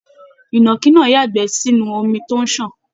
Ìnàkí náà yagbẹ́ sínú omi tó n sàn.